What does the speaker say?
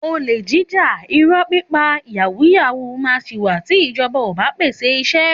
Òlẹ jíjá, ìró pipa, yàwú yàwú mà si wà tí ìjọbá o bà pẹse ìsẹ